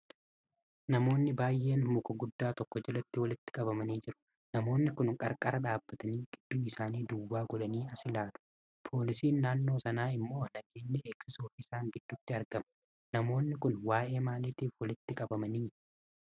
Namoonni baay'een muka guddaa tokko jalatti walitti qabamanii jiru. Namoonni kun qarqara dhaabbatanii gidduu isaanii duwwaa gudhanii as ilaalu. Poolisiin naannoo sanaa immoo nageenya eegsisuuf isaan gidduutti argama. Namoonnii kun waa'ee maalitiif walitti qabamanii?